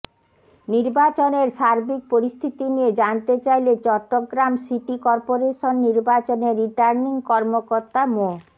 নির্বাচনের সার্বিক পরিস্থিতি নিয়ে জানতে চাইলে চট্টগ্রাম সিটি করপোরেশন নির্বাচনের রিটার্নিং কর্মকর্তা মো